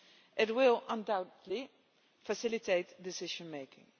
It will undoubtedly facilitate decision making.